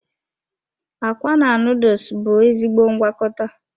Akwa na noodles bụ ezigbo ngwakọta.